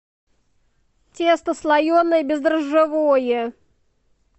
тесто слоеное бездрожжевое